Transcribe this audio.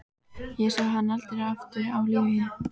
Ég sá hann aldrei aftur á lífi.